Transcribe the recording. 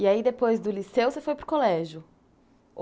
E aí depois do Liceu você foi para o colégio? O